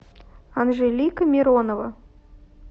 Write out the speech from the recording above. анжелика миронова